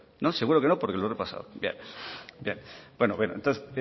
no seguro que no porque lo he repasado